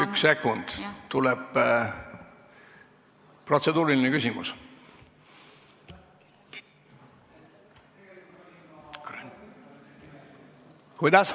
Üks sekund, tuleb protseduuriline küsimus.